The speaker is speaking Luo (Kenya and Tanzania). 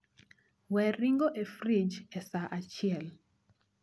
Wee ring'o e frij e saa achiel